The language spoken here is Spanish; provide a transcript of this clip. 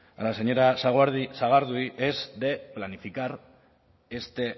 a la señora sagardui es de planificar este